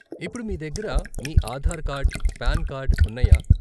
ఇప్పుడు మీ దగ్గర మీ ఆధార్ కార్డ్, పాన్ కార్డ్ ఉన్నాయా?